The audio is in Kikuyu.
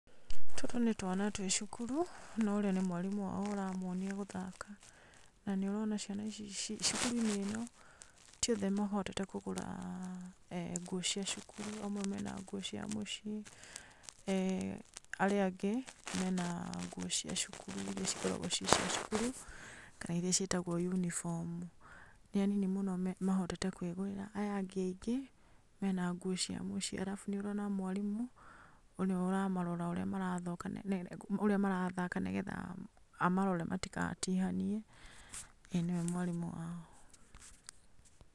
Tũtũ nĩ twana twĩ cukuru no ũrĩa nĩ mwarimũ wao ũramonia gũthaka na nĩ ũrona ciana ici, cukuru-inĩ ĩno ti othe mahotete kũgũra nguo cia cukuru, amwe mena nguo cia mũciĩ, arĩa angĩ mena nguo cia cukuru, iria cikoragwo ci cia cukuru kana iria ciĩtagwo yunibomu. Nĩ anini mahotete kwĩgũrĩra, aya angĩ mena nguo cia mũciĩ, arabu nĩ ũrona mwarimũ ũrĩa ũramarora ũrĩa marathaka, nĩgetha amarore nĩgetha matigatihanie, ĩĩ nĩwe mwarimũ wao